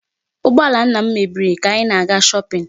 Ụgbọala nna m mebiri ka anyị na-aga shopping.